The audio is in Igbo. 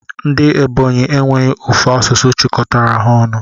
Ndi ebonyi enweghi ofu asụsụ chikọtara ha ọnụ.